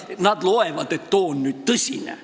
Nad arvavad, et too asi on nüüd tõsine.